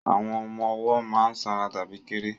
Àwọn ọmọ ọwọ́ má ń sanra tàbí kéré